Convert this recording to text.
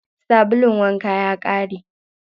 Sabulun wankan ya ƙare.